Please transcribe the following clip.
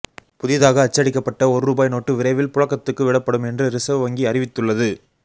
புதிதாக அச்சடிக்கப்பட்ட ஒரு ரூபாய் நோட்டு விரைவில் புழக்கத்துக்கு விடப்படும் என்று ரிசர்வ் வங்கி அறிவித்துள்ளது